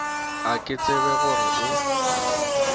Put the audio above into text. ga ke tsebe gore o